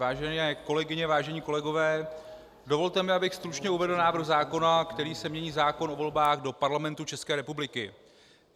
Vážené kolegyně, vážení kolegové, dovolte mi, abych stručně uvedl návrh zákona, kterým se mění zákon o volbách do Parlamentu České republiky.